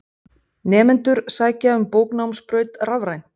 Nemendur sækja um bóknámsbraut rafrænt.